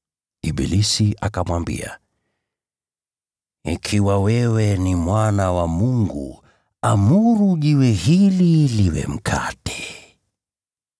Ibilisi akamwambia, “Ikiwa wewe ni Mwana wa Mungu, amuru jiwe hili liwe mkate.”